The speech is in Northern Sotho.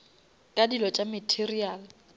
ka dilo tša material